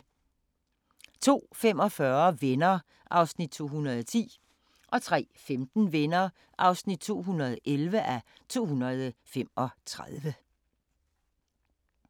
02:45: Venner (210:235) 03:15: Venner (211:235)